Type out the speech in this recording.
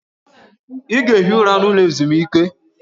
Ị ga-ehi ụra n'ụlọ ezumike!